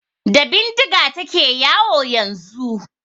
Da bindiga ta ke yawo yanzu.